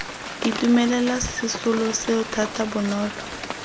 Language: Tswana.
itumelela sesolo seo thata bonolo